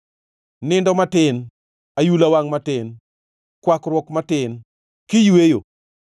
Nindo matin, ayula wangʼ matin, kwakruok matin kiyweyo,